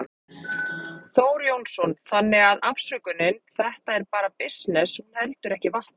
Þór Jónsson: Þannig að afsökunin, þetta er bara bisness, hún heldur ekki vatni?